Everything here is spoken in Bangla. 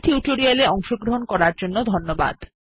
এই টিউটোরিয়াল এ অংশগ্রহন করার জন্য ধন্যবাদ